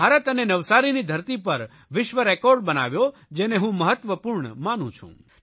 ભારત અને નવસારીની ધરતી પર વિશ્વરેકોર્ડ બનાવ્યો જેને હું મહત્વપૂર્ણ માનું છું